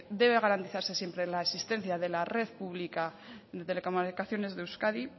debe garantizarse siempre la existencia de la red pública de telecomunicaciones de euskadi